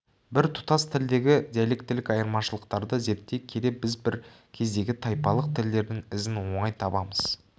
біртұтас тілдегі диалектілік айырмашылықтарды зерттей келе біз бір кездегі тайпалық тілдердің ізін оңай табамыз